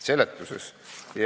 Seletuses?